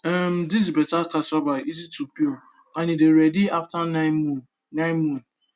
um this better cassava easy to peel and e dey ready after nine moon nine moon